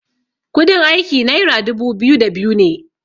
kudin aiki naira dubu biyu da biyu ne